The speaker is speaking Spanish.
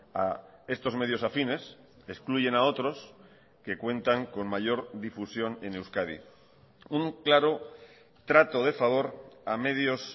a estos medios afines excluyen a otros que cuentan con mayor difusión en euskadi un claro trato de favor a medios